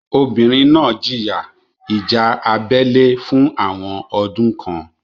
Obìnrin náà jìyà ìjà abẹ́lé fún àwọn ọdún kan.